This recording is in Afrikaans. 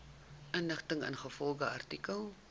inligting ingevolge artikel